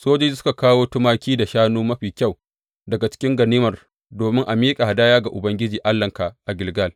Sojoji suka kawo tumaki da shanu mafi kyau daga cikin ganimar domin a miƙa hadaya ga Ubangiji Allahnka a Gilgal.